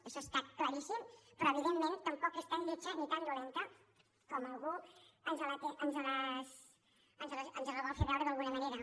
això està claríssim però evidentment tampoc és tan lletja ni tan dolenta com algú ens la vol fer veure d’alguna manera